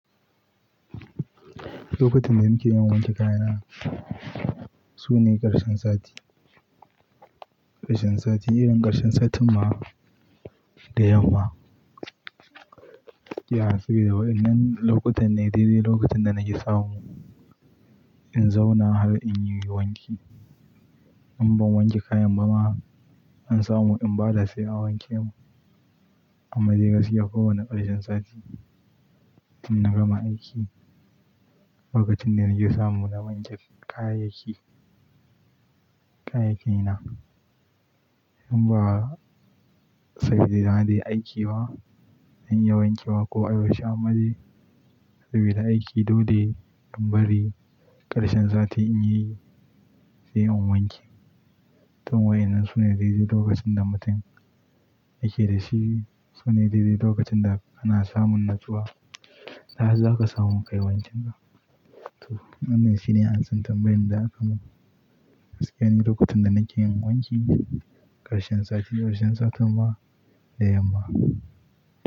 Lokutan da muke yawan wanke kayana su ne karshen sati. Karshen sati, irin karshen satin ma da yamma. Iya sabida wa innan lokutan ne dai-dai lokacin da na ki samu in zauna har in yi wanki. In ban wanke kayan ba ma, an samu in bada sai an wanke mu. Amma dai gaskiya kowane karshen sati tin na gama aiki, lokacin da nake samu na wanke kayayyaki, kayayyaki na. In ba sabida na je aiki ba, zan iya wanke wa ko ai bashi amma dai sabida aiki dole in bari karshen sati in yi sai in wanke. Tun wa innan sune dai-dai lokacin da mutum yake da shi sune dai-dai lokacin da ana samun nutsuwa. Sa'ar da aka samu kai wancin ka. To wannan shine amsar tambayin da aka mun. Gaskiya ne lokutan da nake yin wanki karshen sati, karshen satin ma da yamma.